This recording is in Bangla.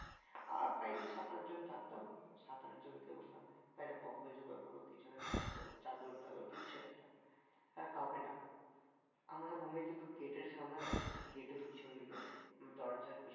আর প্রায় সাত আটজন থাকতাম. সাত আটজনকে বললাম ভাই একটা কম্বল জোগাড় কর কিছু হোক জোগাড় করে চাদর টাদর কিচ্ছু একটা হ্যাঁ কাউকে ডাক আমরা room এ কিন্তু গেটের সামনে দাঁড়িয়ে আছি. গেটের পিছন দিকে. দরজার